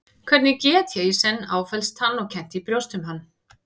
Hvernig get ég í senn áfellst hann og kennt í brjósti um hann?